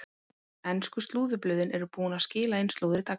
Ensku slúðurblöðin eru búin að skila inn slúðri dagsins.